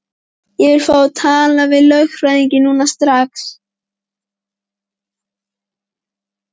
Ég vil fá að tala við lögfræðing núna, strax!